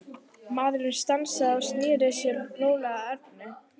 Maðurinn stansaði og sneri sér rólega að Erni.